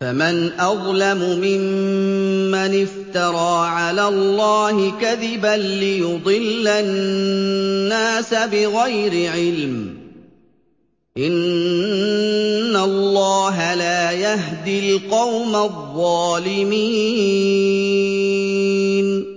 فَمَنْ أَظْلَمُ مِمَّنِ افْتَرَىٰ عَلَى اللَّهِ كَذِبًا لِّيُضِلَّ النَّاسَ بِغَيْرِ عِلْمٍ ۗ إِنَّ اللَّهَ لَا يَهْدِي الْقَوْمَ الظَّالِمِينَ